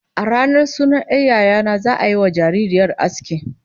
A ranar sunan 'yar yaya na, za'a yiwa jaririyar aski